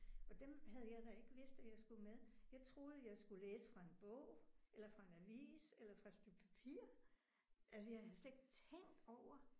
Og dem havde jeg da ikke vidst at jeg skulle med. Jeg troede jeg skulle læse fra en bog eller fra en avis eller fra et stykke papir. Altså jeg havde slet ikke tænkt over